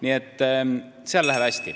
Nii et seal läheb hästi.